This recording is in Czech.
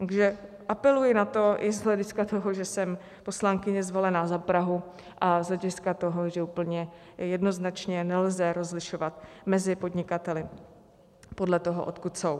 Takže apeluji na to i z hlediska toho, že jsem poslankyně zvolená za Prahu, a z hlediska toho, že úplně jednoznačně nelze rozlišovat mezi podnikateli podle toho, odkud jsou.